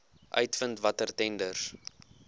uitvind watter tenders